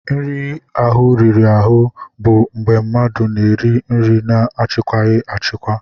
Nri ahụ riri ahụ bụ mgbe mmadụ na-eri nri na-achịkwaghị achịkwa.